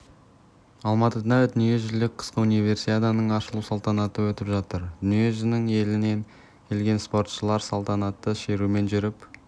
алматыда дүниежүзілік қысқы универсиаданың ашылу салтанаты өтіп жатыр дүние жүзінің елінен келген спортшылар салтанатты шерумен жүріп